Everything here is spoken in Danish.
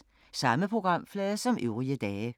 Samme programflade som øvrige dage